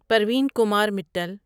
Parveen Kumar Mittal